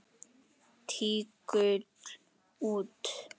Tígull út.